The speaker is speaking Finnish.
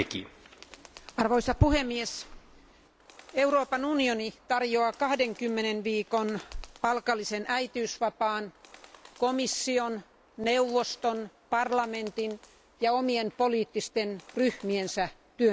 Arvoisa puhemies, Euroopan unioni tarjoaa 20 viikon palkallisen äitiysvapaan komission, neuvoston, Euroopan parlamentin ja omien poliittisten ryhmiensä työntekijöille.